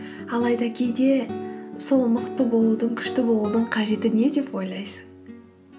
алайда кейде сол мықты болудың күшті болудың қажеті не деп ойлайсың